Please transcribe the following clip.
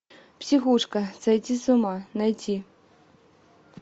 психушка сойти с ума найти